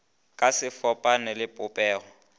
ka se fapane le popego